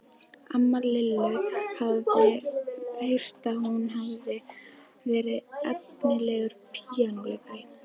Amma Lillu hafði heyrt að hún hefði verið efnilegur píanóleikari.